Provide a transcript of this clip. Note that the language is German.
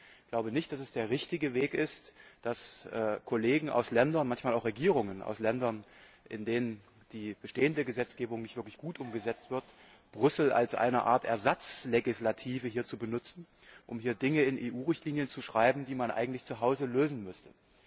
Ich glaube nicht, dass es der richtige Weg ist, dass Kollegen und manchmal auch Regierungen aus Ländern, in denen die bestehende Gesetzgebung nicht wirklich gut umgesetzt wird, Brüssel hier als eine Art Ersatzlegislative benutzen, um Dinge in EU Richtlinien zu schreiben, die man eigentlich zuhause lösen müsste.